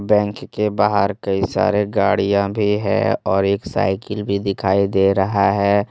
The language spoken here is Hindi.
बैंक के बाहर कई सारे गाड़ियां भी हैं और एक साइकिल भी दिखाई दे रहा है।